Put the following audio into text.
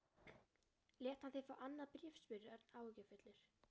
Lét hann þig fá annað bréf? spurði Örn áhyggjufullur.